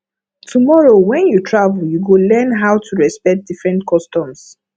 tomorrow when you travel you go learn how to respect different customs